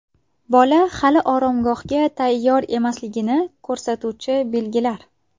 Bola hali oromgohga tayyor emasligini ko‘rsatuvchi belgilar.